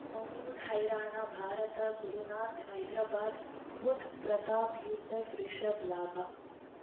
Bollywood ಹೈರಾಣ ಭಾರತ ಗುರುನಾಥ ಹೈದರಾಬಾದ್ ಬುಧ್ ಪ್ರತಾಪ್ ಯೂಸೆಫ್ ರಿಷಬ್ ಲಾಭ